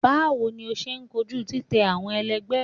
Bawo ni o ṣe koju titẹ awọn ẹlẹgbẹ?